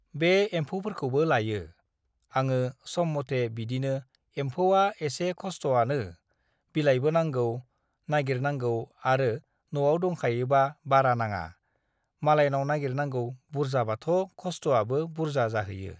बे एम्फौफोरखौबो लायो। आङो सम मथे बिदिनो एमफौआ एसे खस्थ'आनो बिलाइबो नांगौ, नागिरनांगौ आरो न'आव दंखायोबा बारा नाङा। मालायनाव नागिरनांगौ बुरजाबाथ' खस्थ'आबो बुरजा जाहैयो।